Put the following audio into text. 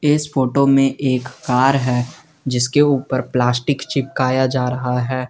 इस फोटो में एक कार है जिसके ऊपर प्लास्टिक चिपकाए जा रहा है।